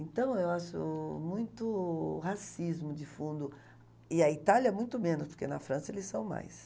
Então, eu acho muito racismo de fundo, e a Itália muito menos, porque na França eles são mais.